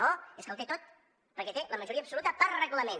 no és que el té tot perquè té la majoria absoluta per reglament